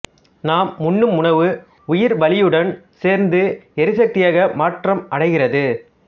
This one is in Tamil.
நாம் உண்ணும் உணவு உயிர்வளியுடன் சேர்ந்து எரி சக்தியாக மாற்றமடைகிறது